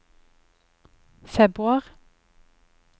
februar